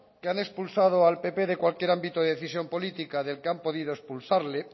que han expulsado al pp de cualquier ámbito de decisión política del que han podido expulsarle